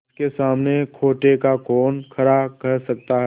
पंच के सामने खोटे को कौन खरा कह सकता है